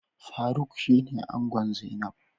Faruk shine ango zainab.